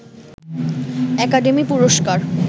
academy পুরস্কার